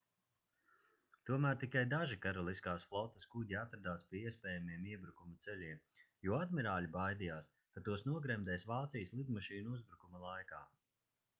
tomēr tikai daži karaliskās flotes kuģi atradās pie iespējamajiem iebrukuma ceļiem jo admirāļi baidījās ka tos nogremdēs vācijas lidmašīnu uzbrukuma laikā